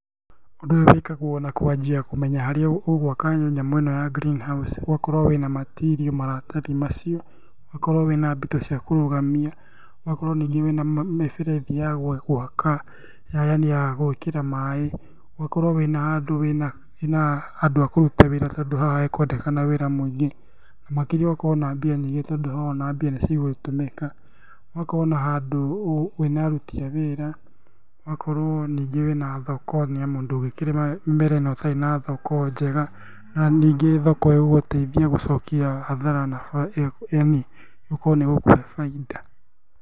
Ũndũ ũyũ wĩkagwo na kwanjia kũmenya harĩa ũgwaka nyamũ ĩno ya green house. Ũgakorwo wĩna matirio maratathi macio. Ũgakorwo wĩna mbito cia kũrũgamia, ũgakorwo ningĩ wĩna mĩberethi ya gwaka, yani ya gwĩkĩra maĩ, ũgakorwo wĩ na handũ wĩ na, wĩna andũ a kũruta wĩra, tondũ haha hakwendekana wĩra mũingĩ. Na makĩria ũgakorwo na mbia nyingĩ, tondũ haha ona mbia nĩcigũgĩtũmĩka. Ũgakorwo na handũ wĩna aruti a wĩra, ũgakorwo ningĩ wĩ na thoko, nĩ amu ndũngĩkĩrĩma mbere na ũtarĩ na thoko njega. Na ningĩ thoko ĩgũgũteithia gũcokia hathara na bainda, yani, ĩgũkorwo nĩ ĩgũkũhe bainda.